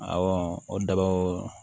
o daba o